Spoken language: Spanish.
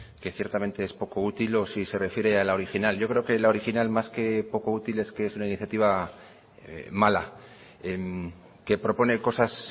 que ciertamente es poco útil o si se refiere a la original yo creo que la original más que poco útil es que es una iniciativa mala que propone cosas